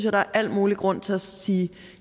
at der er al mulig grund til at sige